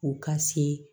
U ka se